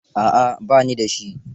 A'a ba ni da shi.